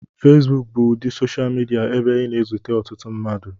Fesbuku bụ ụdị soshal midia ebe ị na-ezute ọtụtụ mmadụ.